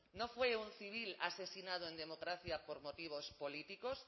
no fue un civil asesinado en democracia por motivos políticos